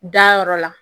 Dayɔrɔ la